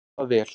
Fari það vel.